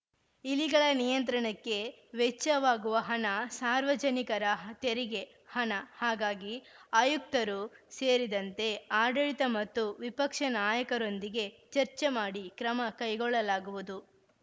ಇಲಿಗಳ ನಿಯಂತ್ರಣಕ್ಕೆ ವೆಚ್ಚವಾಗುವ ಹಣ ಸಾರ್ವಜನಿಕರ ತೆರಿಗೆ ಹಣ ಹಾಗಾಗಿ ಆಯುಕ್ತರು ಸೇರಿದಂತೆ ಆಡಳಿತ ಮತ್ತು ವಿಪಕ್ಷ ನಾಯಕರೊಂದಿಗೆ ಚರ್ಚೆ ಮಾಡಿ ಕ್ರಮ ಕೈಗೊಳ್ಳಲಾಗುವುದು